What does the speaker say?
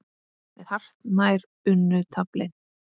með hartnær unnu tafli.